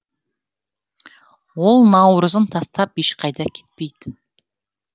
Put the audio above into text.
ол наурызын тастап ешқайда кетпейтін